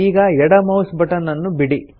ಈಗ ಎಡ mouse button ಅನ್ನು ಬಿಡಿ